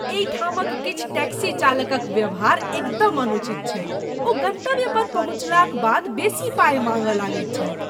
एहिठामक किछु टैक्सी चालकक व्यवहार एकदम अनुचित छैक, ओ गन्तव्य पर पहुँचलाक बाद बेसी पाइ माँगय लगैत छथि।